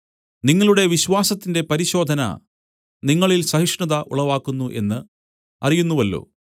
നിങ്ങളുടെ വിശ്വാസത്തിന്റെ പരിശോധന നിങ്ങളിൽ സഹിഷ്ണത ഉളവാക്കുന്നു എന്ന് അറിയുന്നുവല്ലോ